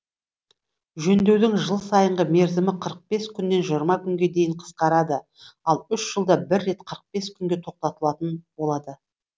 жөндеудің жыл сайынғы мерзімі қырық бес күннен жиырма күнге дейін қысқарады ал үш жылда бір рет қырық бес күнге тоқтатылатын болады